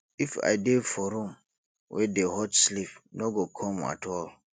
if i dey for room wey dey hot sleep no go come at all